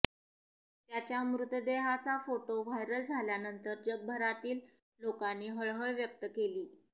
त्याच्या मृतदेहाचा photo viral झाल्यानंतर जगभरातील लोकांनी हळहळ व्यक्त केली